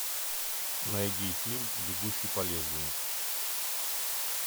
найди фильм бегущий по лезвию